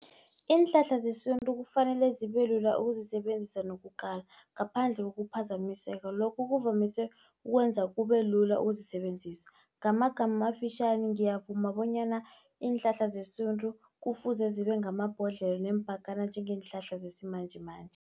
Iinhlahla zesintu kufanele zibe lula ukuzisebenzisa nokukala ngaphandle kokuphazamiseka, lokhu kuvamise ukwenza kube lula ukuzisebenzisa. Ngamagama amafitjhani ngiyavuma bonyana iinhlahla zesintu, kufuze zibe ngamabhodlelo neempakana njengeenhlahla zesimanjemanje.